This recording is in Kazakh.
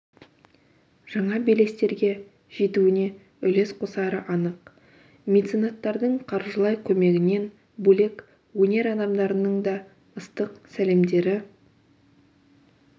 жаңа белестерге жетуіне үлес қосары анық меценаттардың қаржылай көмегінен бөлек өнер адамдарының да ыстық сәлемдері